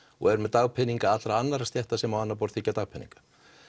og er með dagpeninga allra annara stétta sem á annað borð þiggja dagpeninga